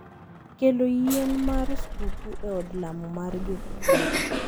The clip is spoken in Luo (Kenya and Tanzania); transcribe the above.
Kelo yien mar skuku e od lamo mar jokopere.